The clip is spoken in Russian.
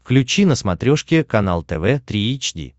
включи на смотрешке канал тв три эйч ди